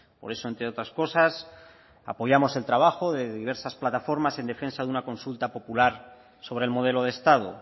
por eso entre otras cosas apoyamos el trabajo de diversas plataformas en defensa de una consulta popular sobre el modelo de estado